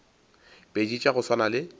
pedi tša go swana le